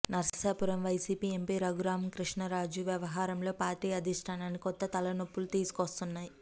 Narsapuram YCP MP Raghurama Krishnam Raju వ్యవహారంలో party అధిష్టానానికి కొత్త తలనొప్పులు తీసుకొస్తున్నాయి